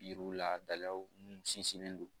Yiriw la dalaw mun sinsinnen don